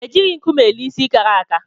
E jighi nkume ele ịsị kàrà àkà